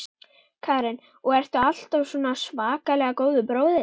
Karen: Og ertu alltaf svona svakalega góður bróðir?